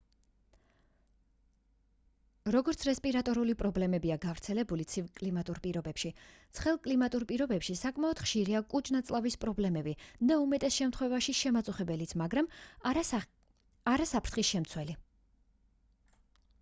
როგორც რესპირატორული პრობლემებია გავრცელებული ცივ კლიმატურ პირობებში ცხელ კლიმატურ პირობებში საკმაოდ ხშირია კუჭ-ნაწლავის პრობლემები და უმეტეს შემთხვევაში შემაწუხებელიც მაგრამ არა საფრთხის შემცველი